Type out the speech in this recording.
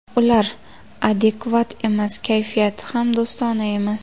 Ular adekvat emas, kayfiyati ham do‘stona emas.